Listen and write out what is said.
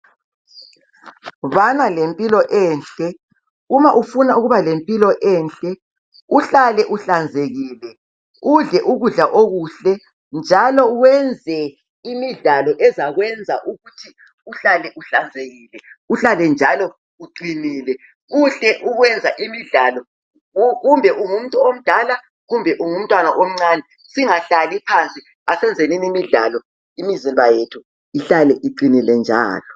Bana lempilo enhle, uma ufuna ukuba lempilo enhle, uhlale uhlanzekile, udle ukudla okuhle, njalo wenze imidlalo ezakwenza ukuthi uhlale uhlanzekile, uhlale njalo uqinile kuhle ukwenza imidlalo kumbe ungumuntu omdala kumbe ungu mntwana omncane singahlali phansi asenzeni imidlalo imizimba yethu ihlale iqinile njalo.